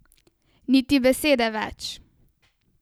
Niti besede več.